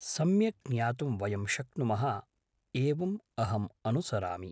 सम्यक् ज्ञातुं वयं शक्नुमः एवम् अहं अनुसरामि